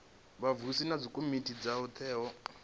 vhavhusi na dzikomiti dzo teaho